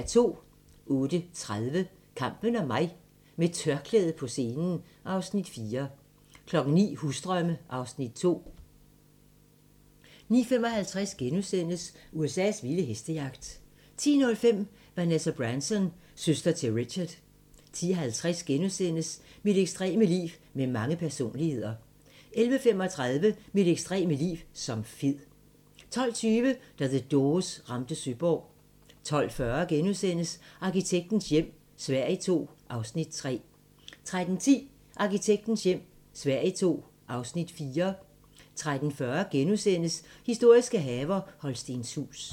08:30: Kampen om mig: Med tørklæde på scenen (Afs. 4) 09:00: Husdrømme (Afs. 2) 09:55: USA's vilde hestejagt * 10:05: Vanessa Branson - søster til Richard 10:50: Mit ekstreme liv med mange personligheder * 11:35: Mit ekstreme liv som fed 12:20: Da The Doors ramte Søborg 12:40: Arkitektens hjem - Sverige II (Afs. 3)* 13:10: Arkitektens hjem - Sverige II (Afs. 4) 13:40: Historiske haver - Holstenshuus *